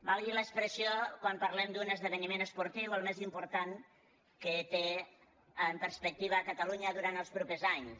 valgui l’expressió quan parlem d’un esdeveniment esportiu el més important que té en perspectiva catalunya durant els propers anys